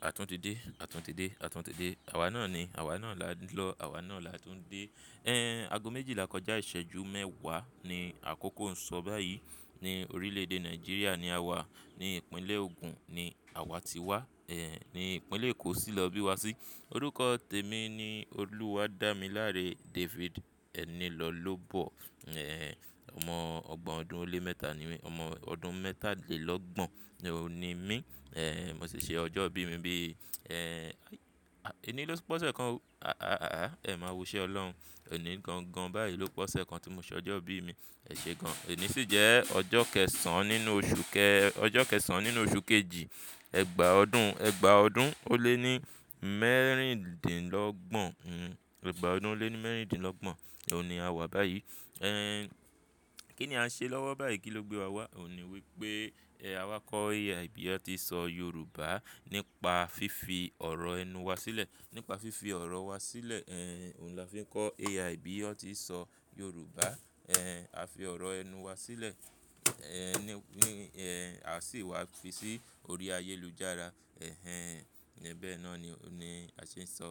Àtún ti dé, àtún ti dé, àtún ti dé. Àwa náà ni, àwa náà là ń lọ, àwa náà là tún dé. Ago méjìlá kọjá ìṣẹ́jú mẹ́wàá ni àkókò ń sọ báyìí. Ní orílẹ̀-èdè Nàìjíríà ni àwa, ní ìpínlẹ̀ Ogun ni àwa ti wá, ní ìpínlẹ̀ Èkó sì lọ bí wa sí. Orúkọ tèmi ni Oluwadamilare David Enilolobo. Ọmọ ọgbọ̀n ọdún ó lé mẹ́ta ni mí, ọmọ ọdún mẹ́tàlélọ́gbọ̀n ni òun ni mí. Mo sì ṣe ọjọ́ ìbí mi bí, Enilopose kan, ẹ máa wu iṣẹ́ Ọlọ́run. Eni gangan bayii ló pe ose kàn tí mo ṣe ọjọ́ ìbí mi. Eṣe gan. Eni sì jẹ́ ọjọ́ kẹsàn-án nínú oṣù kẹ, ọjọ́ kẹsàn-án nínú oṣù kejì, ẹgbàá ọdún, ẹgbàá ọdún ó lé ní mẹ́rìndínlọ́gbọ̀n, ẹgbàá ọdún ó lé ní mẹ́rìndínlọ́gbọ̀n ni àwa báyìí. Kí ni a ṣe lọ́wọ́ báyìí kí ló gbé wa wá? Òun ni wípé, àwa kọ́ bí atí so Yorùbá nípa fífi ọ̀rọ̀ ẹnu wa sílẹ̀. Nípa fífi ọ̀rọ̀ wa sílẹ̀, òun là fi ń kọ́ AI bí ọtí so Yorùbá, a fi ọ̀rọ̀ ẹnu wa sílẹ̀, a sì wá fi sí orí ayélujára. Bẹ́ẹ náà ni, ni a ṣe ń sọ,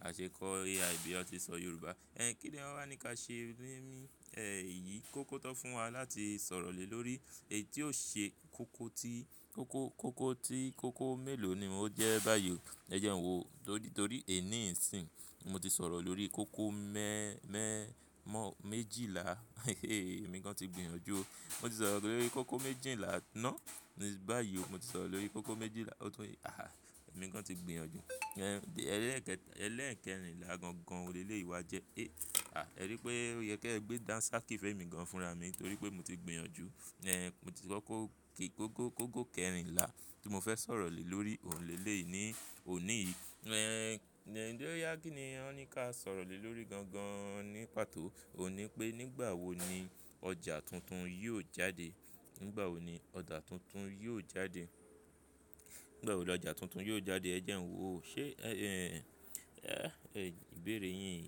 a ṣe ń kọ́ AI bí ọ tí so Yorùbá. Kí ni wọn wá ní ká ṣe nínu, eyìí kó kọ́ tọ́ fún wa láti sọ̀rọ̀ lé lórí èyí tí ó ṣe koko tí, koko, koko tí, koko mélòó ni o jẹ́ báyìí. Ẹ jẹ ń wo, torí, torí èní yìí sìn. Mo ti sọ̀rọ̀ lórí koko mẹ́, mẹ́, mọ́, méjìlá. Èmi gan ti gbìyànjú ó. Mo ti sọ̀rọ̀ lórí koko méjìlá náà báyìí. Mo ti sọ̀rọ̀ lórí koko méjìlá, ó tún, èmi gan ti gbìyànjú. Ẹlẹ́ẹ̀kẹ, ẹlẹ́ẹ̀kẹrinlá gangan olélé ìwà jẹ́. E, à, ẹ rí i pé ó yẹ kí ẹ gbé dansakí femi gan fúnra mi torí pé mo ti gbìyànjú. Eh, mo ti kọ́kó kí, kóko, kóko kẹrinlá tí mo fẹ́ sọ̀rọ̀ lé lórí Òhun lé léleyi ní, òní yìí. Eh, ń jẹ́ oya kíni wọn ní ká sọ̀rọ̀ lé lórí gan gan nípató. Ó ní pé nígbà wo ni ọjà tuntun yóò jáde. Nígbà wo ni ọjà tuntun yóò jáde. Nígbà wo ni ọjà tuntun yóò jáde? Ẹ jẹun wo. Ṣé, eh, eh, ìbéèrè yín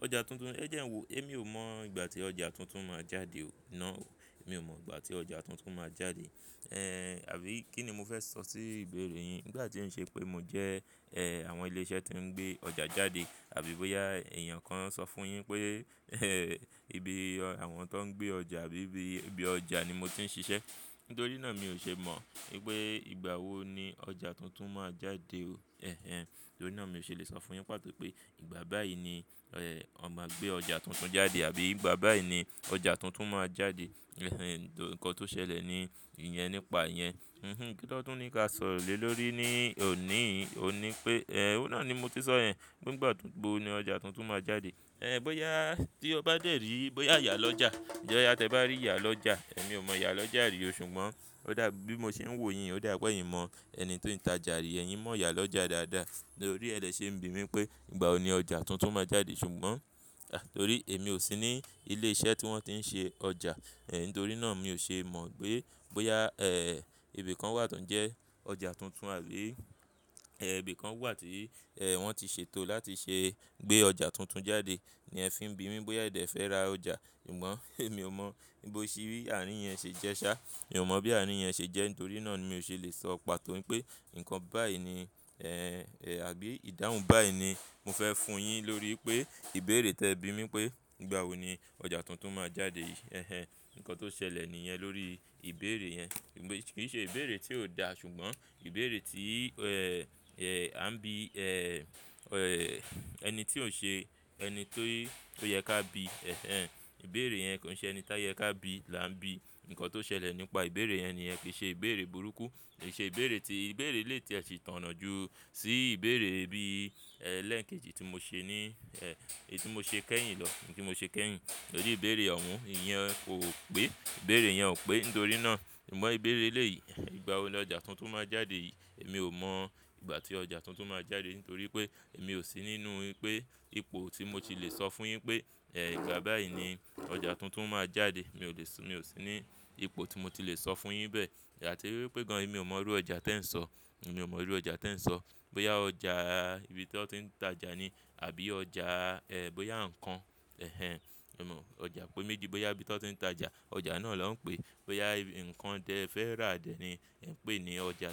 ọjà tuntun, ẹ jẹun wo. Ẹ mi ò mọ ìgbà tí ọjà tuntun máa jáde o. Náà o. Èmi ò mọ ìgbà tí ọjà tuntun máa jáde. Eh, àbí kí ni mo fẹ́ sọ sí ìbéèrè yín? Nígbà tí ń ṣe pé mo jẹ́, eh, àwọn ilé iṣẹ́ tí ń gbé ọjà jáde àbí bóyá èèyàn kan sọ fún un yín pé, eh, ibi àwọn tó ń gbé ọjà bí ibi, ibi ọjà ni mo ti ń ṣiṣẹ́. Nítorí náà mi ò ṣe mọ wípé ìgbà wo ni ọjà tuntun máa jáde o. Eh-hen. Nítorí náà mi ò ṣe lè sọ fún un yín pàtó pé ìgbà báyìí ni, eh, a máa gbé ọjà tuntun jáde àbí ìgbà báyìí ni ọjà tuntun máa jáde. Eh-hen, nítorí nǹkan tó ṣẹlẹ̀ ni ìyẹn nípa ìyẹn. Hm-hm, kí lọ́tún ní ká sọ̀rọ̀ lé lórí ní òní yìí. Ó ní pé, eh, ó náà ni mo ti sọ ẹ, nigba tún gbó ni ọjà tuntun máa jáde. Eh, bóyá tí o bá dé rí, bóyá iyalọ́jà. Boya tí ẹ bá rí iyàlọ́jà. Èmi ò mọ iyàlọ́jà rí o ṣùgbọ́n ó dà bí mo ṣe ń wò yín, ó dà pé eyin mo ẹni tí ó ń tajà rí, ẹ̀yin mọ̀ iyàlọ́jà dáadáa. Nítorí ẹ lẹ́ ṣe ń bi mí pé ìgbà wo ni ọjà tuntun máa jáde ṣùgbọ́n, àh, torí èmi ò sí ní ilé iṣẹ́ tí wọ́n ti ń ṣe ọjà. Eh, nítorí náà mi ò ṣe mọ pé bóyá, eh, ibi kan wà tó ń jẹ́ ọjà tuntun àbí, eh, ibi kan wà tí, eh, wọ́n ti ṣètò láti ṣe gbé ọjà tuntun jáde ni ẹ fi ń bi mí bóyá ẹ̀dẹ̀ fẹ́ ra ọjà. Sugbọ̀n èmi ò mọ̀ bí o ṣe rí àárín yẹn ṣe jẹ́ ṣá. Èmi ò mọ bí àárín yẹn ṣe jẹ́ nítorí náà ni mi ò ṣe lè sọ pàtó pé ǹnkan báyìí ni, eh, àbí ìdáhùn báyìí ni mo fẹ́ fún un yín lórí pé ìbéèrè tí ẹ bi mí pé ìgbà wo ni ọjà tuntun máa jáde yìí. Eh-hen, ǹkan tó ṣẹlẹ̀ ni ìyẹn lórí ìbéèrè yẹn. Kì í ṣe ìbéèrè tí ò dá ṣùgbọ́n ìbéèrè tí, eh, eh, a ń bi, eh, eh, ẹni tí ò ṣe ẹni tó, tó yẹ ká bi. Eh-hen, ìbéèrè yẹn kò ń ṣe ẹni tí a yẹ ká bi là ń bi. Ǹnkan tó ṣẹlẹ̀ nípa ìbéèrè yẹn ni ẹ fi ṣe ìbéèrè burúkú. Kì í ṣe ìbéèrè tí, ìbéèrè lè tíẹ sì tonà ju sí ìbéèrè bí, eh, lẹ́ẹ̀kejì tí mo ṣe ní, eh, èyí tí mo ṣe kẹ́yìn lọ, èyí tí mo ṣe kẹ́yìn. Tórí ìbéèrè ohun, ìyẹn ò pé. Ìbéèrè yẹn ò pé nítorí náà. Ìmọ̀ ìbéèrè lè yìí, ìgbà wo ni ọjà tuntun máa jáde yìí. Èmi ò mọ ìgbà tí ọjà tuntun máa jáde nítorí pé èmi ò sí nínú pé ipò tí mo ti lè sọ fún un yín pé, eh, ìgbà báyìí ni ọjà tuntun máa jáde. Mi ò lè sọ, mi ò sí ní ipò tí mo ti lè sọ fún un yín bẹ́ẹ̀. Àti wípé gan-an, èmi ò mọ irú ọjà tí ẹ ń sọ. Mi ò mọ irú ọjà tí ẹ ń sọ. Bóyá ọjà ibi tí wọn ti ń tajà ni àbí ọjà, eh, bóyá ǹnkan, eh-hen. Mi ò mọ̀. Ọjà pe méjì bóyá ibi tí wọn ti ń tajà, ọjà náà là ń pèé. Bóyá nnkan tẹ fẹ́ rà dẹ̀ ni ẹ̀ ń pè ní ọjà tuntun.